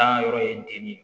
Dan yɔrɔ ye den ne ye